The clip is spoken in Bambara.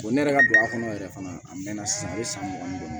ne yɛrɛ ka don a kɔnɔ yɛrɛ fana a mɛnna san mugan ni duuru ma